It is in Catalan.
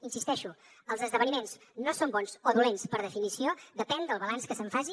hi insisteixo els esdeveniments no són bons o dolents per definició depèn del balanç que se’n faci